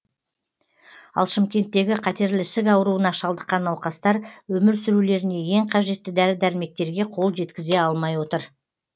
ал шымкенттегі қатерлі ісік ауруына шалдыққан науқастар өмір сүрулеріне ең қажетті дәрі дәрмектерге қол жеткізе алмай отыр